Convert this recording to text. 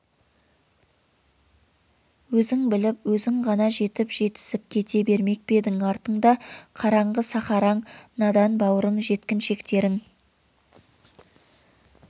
өзің біліп өзің ғана жетіп жетісіп кете бермек пе едің артыңда қараңғы сахараң надан бауырың жеткіншектерің